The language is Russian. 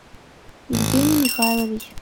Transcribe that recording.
евгений михайлович